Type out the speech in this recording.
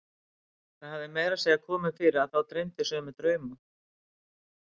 Það hafði meira að segja komið fyrir að þá dreymdi sömu drauma.